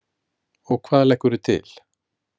Og hvað leggurðu til?